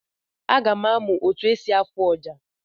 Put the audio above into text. Aga m amụ otu esi afụ ọjà.